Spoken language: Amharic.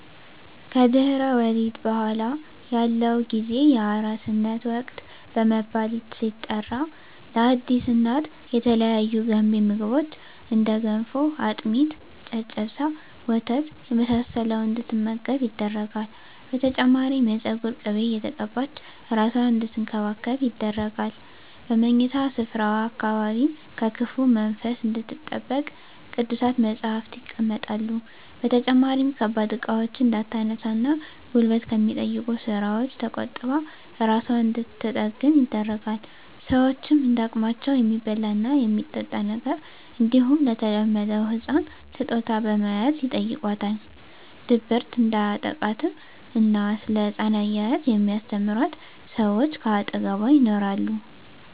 ከድህረ ወሊድ በኃላ ያለው ጊዜ የአራስነት ወቅት በመባል ሲጠራ ለአዲስ እናት የተለያዩ ገንቢ ምግቦች እንደ ገንፎ፣ አጥሚት፣ ጨጨብሳ፣ ወተት የመሳሰለውን እንድትመገብ ይደረጋል። በተጨማሪም የፀጉር ቅቤ እየተቀባች እራሷን አንድትንከባከብ ይደረጋል። በምኝታ ስፍራዋ አካባቢም ከክፉ መንፈስ እንድትጠበቅ ቅዱሳት መፀሃፍት ይቀመጣሉ። በተጨማሪም ከባድ እቃዎችን እንዳታነሳ እና ጉልበት ከሚጠይቁ ስራወች ተቆጥባ እራሷን እንድንትጠግን ይደረጋል። ሸወችም እንደ አቅማቸው የሚበላ እና የሚጠጣ ነገር እንዲሁም ለተወለደዉ ህፃን ስጦታ በመያዝ ይጨይቋታል። ድብርት እንዲያጠቃትም እና ስለ ህፃን አያያዝ የሚስተምሯት ሰወች ከአጠገቧ ይኖራሉ።